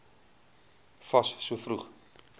fas so vroeg